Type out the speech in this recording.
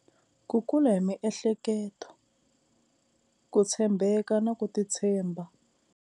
Ku kula hi miehleketo ku tshembeka na ku titshemba.